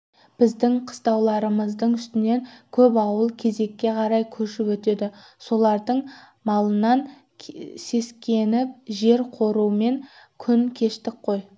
біздің қыстауларымыздың үстінен көп ауыл күзекке қарай көшіп өтеді солардың малынан сескеніп жер қорумен күн кештік қой